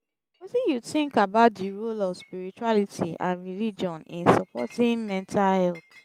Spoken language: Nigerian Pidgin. wetin you think about di role of spirituality and religion in supporting mental health?